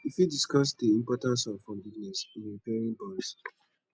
you fit discuss dey importance of forgiveness in repairing bonds